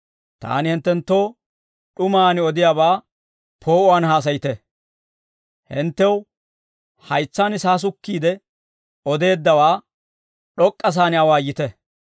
Taani hinttenttoo d'umaan odiyaabaa poo'uwaan haasayite; hinttew haytsaan saasukkiide odeeddawaa, d'ok'k'asaan awaayite.